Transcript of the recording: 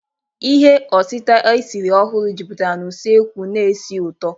Ihe otita esiri ọhụrụ jupụtara na usekwu na ísì ụtọ.